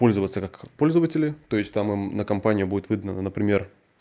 пользоваться как пользователи то есть там им на компанию будет выдано например